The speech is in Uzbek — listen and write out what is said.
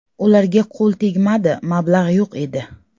Ularga qo‘l tegmadi, mablag‘ yo‘q edi.